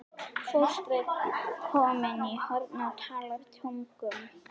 Fóstra komin í hornið og talar tungum.